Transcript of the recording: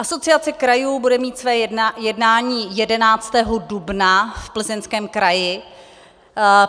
Asociace krajů bude mít své jednání 11. dubna v Plzeňském kraji.